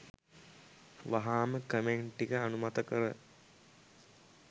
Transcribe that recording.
වහාම කමෙන්ට් ටික අනුමත කර